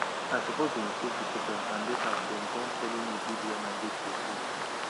i support dem stake pepper and later dem com follow me build where my goat go stay